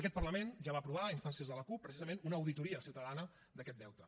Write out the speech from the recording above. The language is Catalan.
aquest parlament ja va aprovar a instàncies de la cup precisament una auditoria ciutadana d’aquest deute